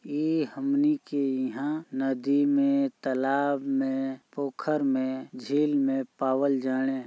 इ हमनी के यहां नदी में तालाब में पोखर में झील में पावल जाने --